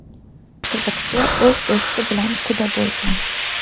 Qiziqchi o‘z do‘sti bilan quda bo‘lgan.